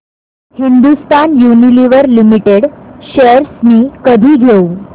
Hindustan Unilever Limited shares मी कधी घेऊ